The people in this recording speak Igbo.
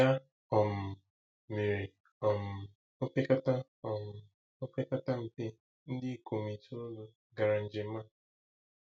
Ya um mere, um opekata um opekata mpe ndị ikom itoolu gara njem a.